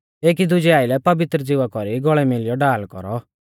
एकी दुजै आइलै पवित्र ज़िवा कौरी गौल़ै मिलियौ ढाल कौरौ